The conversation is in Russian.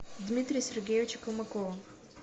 дмитрия сергеевича колмакова